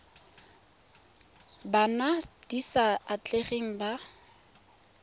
bona di sa atlegang ba